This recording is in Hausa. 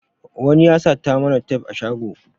Wani ya sata mana tef a shago